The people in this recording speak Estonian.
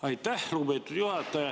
Aitäh, lugupeetud juhataja!